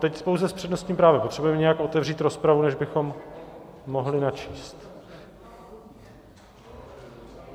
Teď pouze s přednostním právem, potřebujeme nějak otevřít rozpravu, než bychom mohli načíst.